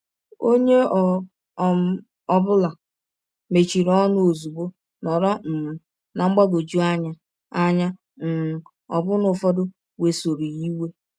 Onye ọ um bụla mechiri ọnụ ọzụgbọ, nọrọ um ná mgbagwọjụ anya, anya, um ọbụna ụfọdụ wesọrọ ya iwe.